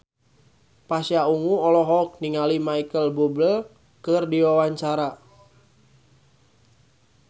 Pasha Ungu olohok ningali Micheal Bubble keur diwawancara